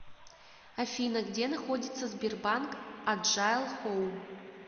афина где находится сбербанк аджайл хоум